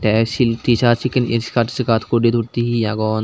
te sil tshir sekkin skart kurti turti he he agon.